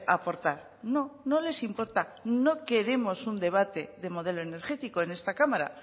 aportar no no les importa no queremos un debate de modelo energético en esta cámara